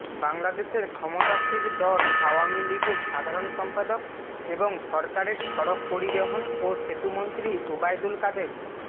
বাংলাদেশের ক্ষমতাসীর দল আওয়ামী লীগের সাধারণ সম্পাদক এবং সরকারের সড়ক পরিবহন ও সেতুমন্ত্রী ওবায়দুল কাদের